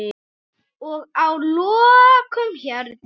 Og að lokum, Herdís.